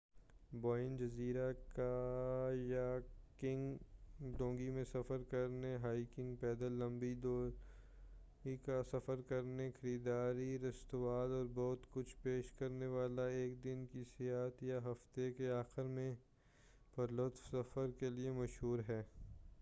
بوین جزیرہ کایاکنگ ڈونگی میں سفر کرنے، ہائکنگ پیدل لمبی دوری کا سفر کرنے، خریداری، رستوراں، اور بہت کچھ پیش کرنے والا ایک دن کی سیاحت یا ہفتہ کے آخر میں پُرلطف سفر کیلئے مشہور ہے-